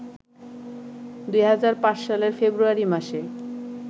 ২০০৫ সালের ফেব্রুয়ারি মাসে